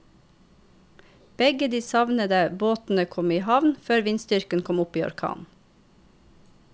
Begge de savnede båtene kom i havn før vindstyrken kom opp i orkan.